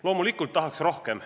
Loomulikult tahaks rohkem.